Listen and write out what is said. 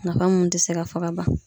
Nafa mun te se ka fɔ ka ban.